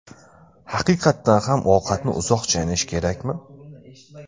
Haqiqatan ham ovqatni uzoq chaynash kerakmi?.